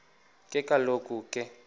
ke kaloku ke